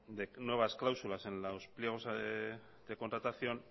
de nuevas cláusulas en los pliegos de contratación